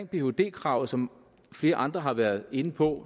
phd kravet som flere andre har været inde på